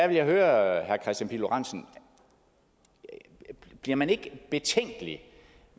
jeg høre herre kristian pihl lorentzen bliver man ikke betænkelig